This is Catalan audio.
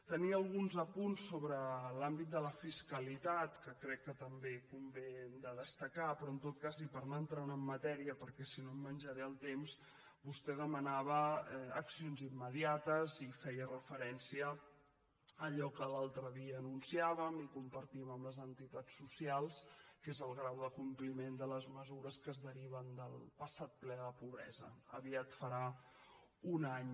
tenia alguns apunts sobre l’àmbit de la fiscalitat que crec que també convé de destacar però en tot cas i per anar entrant en matèria perquè si no em menjaré el temps vostè demanava accions immediates i feia referència a allò que l’altre dia anunciàvem i compartíem amb les entitats socials que és el grau de compliment de les mesures que es deriven del passat ple de pobresa aviat farà un any